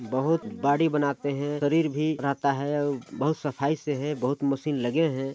बहोत बॉडी बनाते है शरीर भी रहता है बहुत सफाई से है बहुत मशीन लगे है।